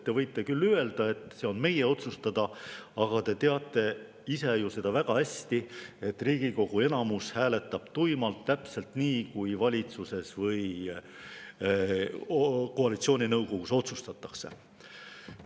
Te võite küll öelda, et see on meie otsustada, aga te teate ise ju väga hästi, et Riigikogu enamus hääletab tuimalt täpselt nii, nagu valitsuses või koalitsiooninõukogus otsustatakse.